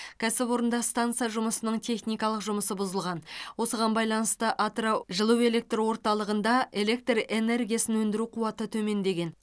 кәсіпорында станса жұмысының техникалық жұмысы бұзылған осыған байланысты атырау жылу электр орталығында электр энергиясын өндіру қуаты төмендеген